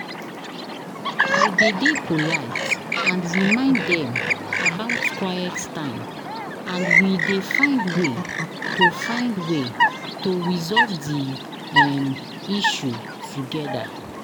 i dey dey polite and remind dem about quiet time, and we dey find way to find way to resolve di um issue together.